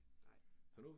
Nej, nej